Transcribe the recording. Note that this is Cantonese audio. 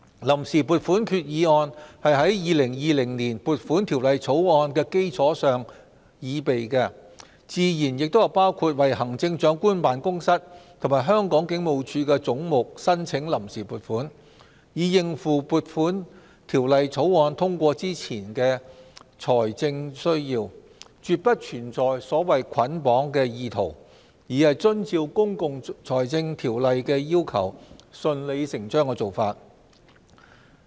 臨時撥款決議案是在《2020年撥款條例草案》的基礎上擬備，自然包括為行政長官辦公室及香港警務處的總目申請臨時撥款，以應付《2020年撥款條例草案》通過前的財政需要，絕不存在所謂"捆綁"的意圖，而是遵照《公共財政條例》的要求、順理成章的做法。